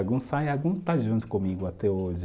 Alguns saem, alguns está junto comigo até hoje.